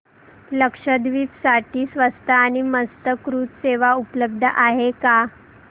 लक्षद्वीप साठी स्वस्त आणि मस्त क्रुझ सेवा उपलब्ध आहे का